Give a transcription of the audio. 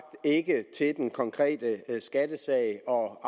ikke til den konkrete skattesag og